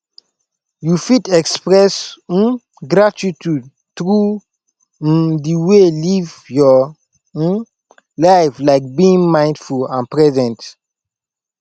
you fit express um gratitude through um di way live your um life like being mindful and present